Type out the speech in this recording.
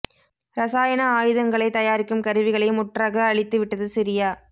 ரசாயன ஆயுதங்களைத் தயாரிக்கும் கருவிகளை முற்றாக அழித்து விட்டது சிரியா